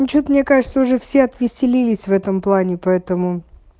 ну что-то мне кажется уже все отвеселились в этом плане поэтому